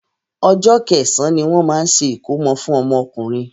Ọjọ́ kẹsàn-án ní wọ́n máa ń ṣe ìkómọ fún ọmọ ọkùnrin.